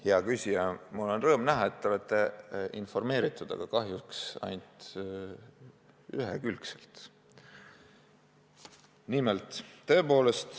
Hea küsija, mul on rõõm näha, et te olete informeeritud, aga kahjuks ainult ühekülgselt.